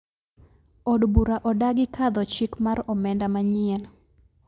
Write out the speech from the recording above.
Od bura odagi kadho chik mar omenda manyien